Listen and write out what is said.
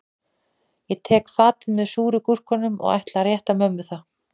Ég tek fatið með súru gúrkunum og ætla að rétta mömmu það